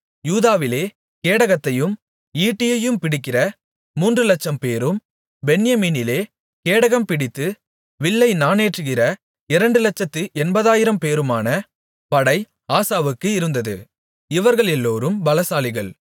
யூதாவிலே கேடகத்தையும் ஈட்டியும் பிடிக்கிற மூன்றுலட்சம்பேரும் பென்யமீனிலே கேடகம் பிடித்து வில்லை நாணேற்றுகிற இரண்டுலட்சத்து எண்பதாயிரம்பேருமான படை ஆசாவுக்கு இருந்தது இவர்களெல்லோரும் பலசாலிகள்